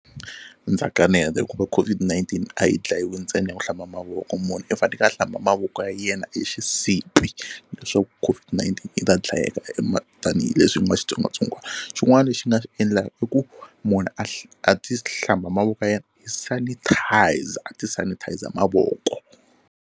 Ndza kaneta hikuva COVID-19 a yi dlayiwi ntsena hi ku hlamba mavoko munhu i faneke a hlamba mavoko ya yena hi xisibi leswaku COVID-19 yi ta dlayeka tanihileswi ku nga xitsongwatsongwana. Xin'wana lexi nga xi endla i ku munhu a a ti hlamba mavoko ya yena hi sanitizer a ti sanitizer mavoko.